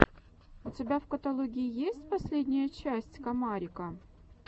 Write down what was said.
у тебя в каталоге есть последняя часть комарика